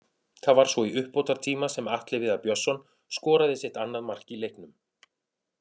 Það var svo í uppbótartíma sem Atli Viðar Björnsson skoraði sitt annað mark í leiknum.